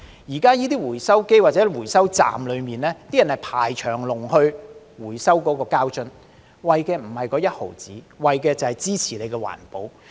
現在這些回收機或回收站裏，大家是排隊等候回收膠樽，為的並非1毫子，為的是支持環保。